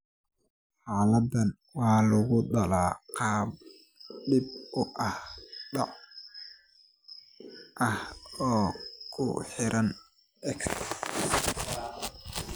Xaaladdan waxaa lagu dhaxlaa qaab dib u dhac ah oo ku xiran X.